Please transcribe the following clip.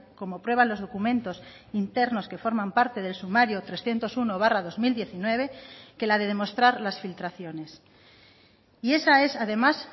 como prueban los documentos internos que forman parte del sumario trescientos uno barra dos mil diecinueve que la de demostrar las filtraciones y esa es además